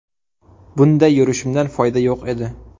Bunday yurishimdan foyda yo‘q edi.